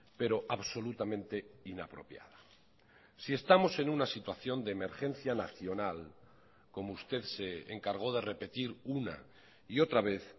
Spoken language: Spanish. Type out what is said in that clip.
pero absolutamente inapropiada si estamos en una situación de emergencia nacional como usted se encargó de repetir una y otra vez